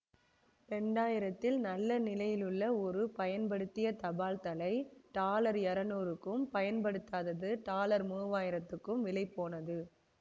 ரெண்டாயிரத்தில் நல்ல நிலையிலுள்ள ஒரு பயன்படுத்திய தபால்தலை டாலர் இருநூறுக்கும் பயன்படுத்தாதது டாலர் மூவாயிரத்துக்கும் விலைபோனது